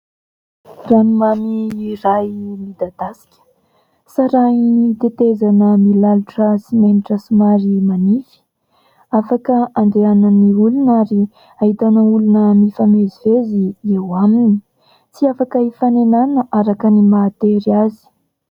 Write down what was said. Ranomamy iray midadasika, sarahin'ny tetezana milalotra simenitra somary manify , afaka andehanan'ny olona ary ahitana olona mifamezivezy eo aminy. Tsy afaka hifanenana araka ny maha tery azy.